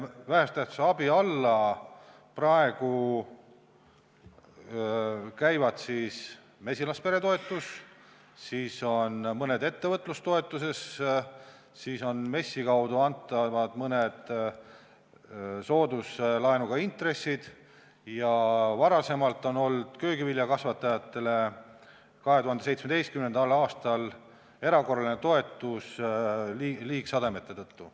Vähese tähtsusega abi alla käivad praegu mesilaspere toetus, mõned ettevõtlustoetused, MES-i kaudu antavad mõned soodusintressiga laenud ja köögiviljakasvatajatel oli 2017. aastal erakorraline toetus liigsademete tõttu.